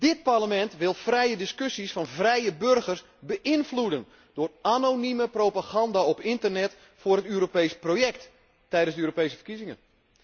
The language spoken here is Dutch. Dit Parlement wil vrije discussies van vrije burgers beïnvloeden door anonieme propaganda op internet voor een Europees project tijdens de Europese verkiezingen.